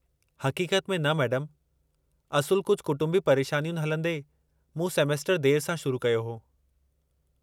हक़ीक़त में न मैडमु, असुलु कुझु कुटुंबी परेशानियुनि हलंदे, मूं सेमेस्टरु देरि सां शुरु कयो हो।